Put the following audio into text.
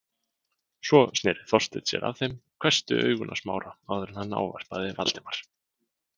Svo sneri Þorsteinn sér að þeim, hvessti augun á Smára áður en hann ávarpaði Valdimar.